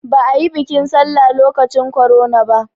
Ba a yi biƙin sallah lokacin korona ba